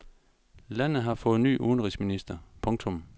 Landet har fået ny udenrigsminister. punktum